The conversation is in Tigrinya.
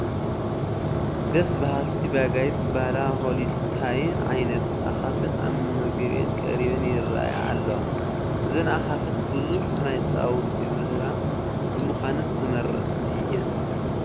ደስ በሃልቲ ቢጋይት ዝበሃላ ሆሊስታይን ዓይነት ኣኻፍት ኣብ መመገቢአን ቀሪበን ይርአያ ኣለዋ፡፡ እዘን ኣኻፍት ብዙሕ ናይ ፃባ ውፅኢት ዝህባ ብምዃነን ተመረፅቲ እየን፡፡